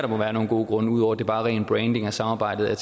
må være nogle gode grunde ud over at det bare er ren branding af samarbejdet